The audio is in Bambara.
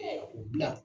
u bila